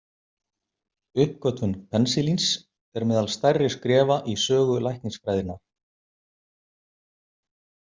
Uppgötvun penisilíns er meðal stærri skrefa í sögu læknisfræðinnar.